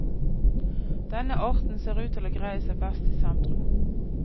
Denne arten ser ut til å greie seg best i sentrum.